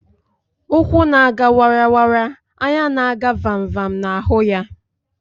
Ụkwụ na- aga wara wara, anya na-aga vam vam na-ahụ ya.